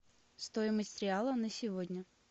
стоимость реала на сегодня